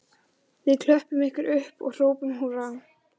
Við klöppum ykkur upp og hrópum húrra